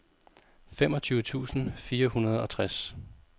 femogtyve tusind fire hundrede og tres